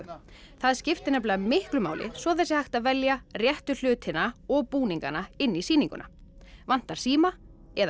það skiptir miklu máli svo það sé hægt að velja réttu hlutina og búningana inn í sýninguna vantar síma eða